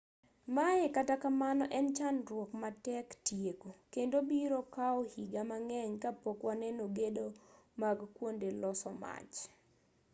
mae kata kamano en chandruok matek tieko kendo biro kawo higa mang'eny kapok waneno gedo mag kuonde loso mach